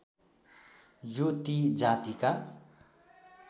यो ती जातिका